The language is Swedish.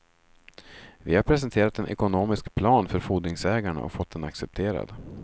Vi har presenterat en ekonomisk plan för fordringsägarna och fått den accepterad.